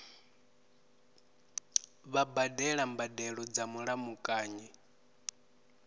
vha badela mbadelo dza mulamukanyi